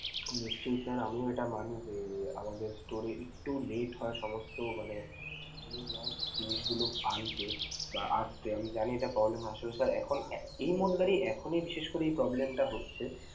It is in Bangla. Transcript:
নিশ্চয়ই sir, আমিও এটা মানি যে আমাদের store এ একটু late হয় সমস্ত মানে new launched জিনিসগুলো আনতে বা আসতে আমি জানি এটা আসলে sir এখন আহ এই মূ~ এখনি বিশেষ করে problem টা হচ্ছে।